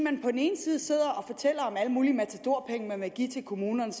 at mulige matadorpenge man vil give til kommunerne